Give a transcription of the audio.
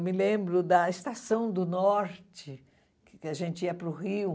Eu me lembro da Estação do Norte, que a gente ia para o Rio.